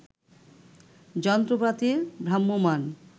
যন্ত্রপাতির ভ্রাম্যমাণ